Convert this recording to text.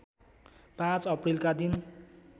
५ अप्रिलका दिन